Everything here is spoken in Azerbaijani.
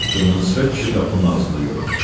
Qırmızı sifət kişi qapının ağzında göründü.